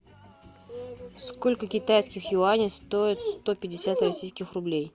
сколько китайских юаней стоят сто пятьдесят российских рублей